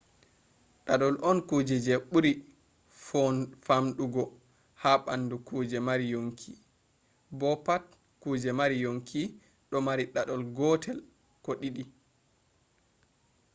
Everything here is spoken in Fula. dadol on kuje buri famdugo ha bandu kuje mari yonki bo pat kuje mari yonki do mari dadol gotel ko didi